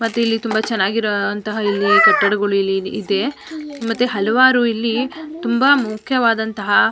ಮತ್ತೆ ಇಲ್ಲಿ ತುಂಬಾ ಚೆನ್ನಾಗಿರುವಂಥ ಇಲ್ಲಿ ಕಟ್ಟಡಗಳು ಇಲ್ಲಿ ಇದೆ ಮತ್ತೆ ಹಲವಾರು ಇಲ್ಲಿ ತುಂಬಾ ಮುಖ್ಯವಾದಂಥ -